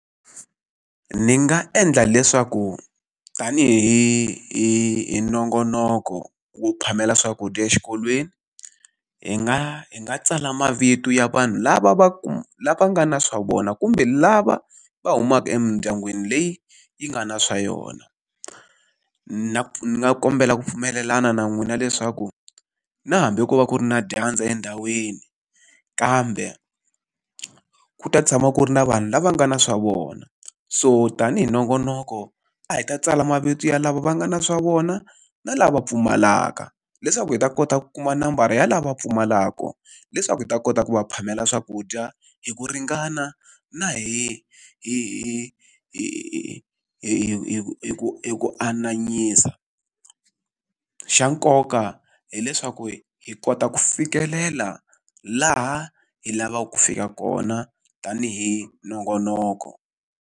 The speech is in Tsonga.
Ni nga endla leswaku tanihi hi hi nongonoko wo phamela swakudya exikolweni, hi nga hi nga tsala mavito ya vanhu lava va lava nga na swa vona kumbe lava va humaka emindyangwini leyi yi nga na swa yona. ni nga kombela ku pfumelelana na n'wina leswaku na hambi ko va ku ri na dyandza endhawini, kambe ku ta tshama ku ri na vanhu lava nga na swa vona. So tanihi nongonoko a hi ta tsala mavito ya lava va nga na swa vona, na lava pfumalaka leswaku hi ta kota ku kuma nambara ya lava pfumalaka, leswaku hi ta kota ku va phamela swakudya hi ku ringana na hi hi hi hi hi hi hi ku hi ku ananyisa. Xa nkoka hileswaku hi kota ku fikelela laha hi lavaka ku fika kona tanihi nongonoko.